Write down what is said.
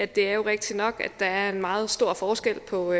det er jo rigtigt nok at der er en meget stor forskel på